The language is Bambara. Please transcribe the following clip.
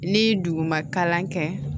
Ni duguma kalan kɛ